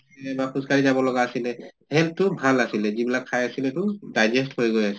বা খোজ কাঢ়ি যাব লগা আছিলে health তো ভাল আছিলে যিবিলাক খাই আছিলে তো digest হৈ গৈ